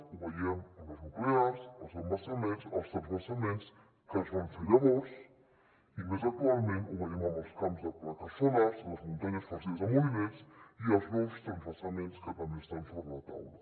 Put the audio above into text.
ho veiem amb les nu·clears els embassaments els transvasaments que es van fer llavors i més actual·ment ho veiem amb els camps de plaques solars les muntanyes farcides de molinets i els nous transvasaments que també estan sobre la taula